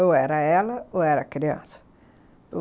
Ou era ela, ou era a criança.